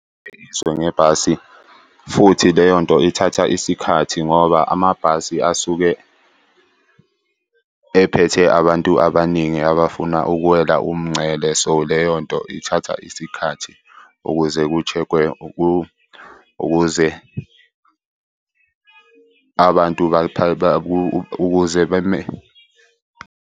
ngebhasi, futhi leyo nto ithatha isikhathi ngoba amabhasi asuke ephethe abantu abaningi abafuna ukuwela umngcele. So, leyo nto ithatha isikhathi ukuze kushekhwe ukuze abantu .